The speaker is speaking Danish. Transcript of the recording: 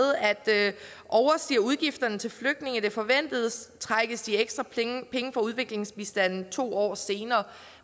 at overstiger udgifterne til flygtninge det forventede trækkes de ekstra penge fra udviklingsbistanden to år senere